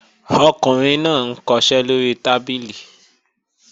Ọkùnrin náà ń kọṣẹ́ lóri tábìlì